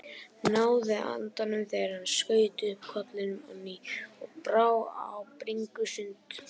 Náði andanum þegar hann skaut upp kollinum á ný og brá á bringusund.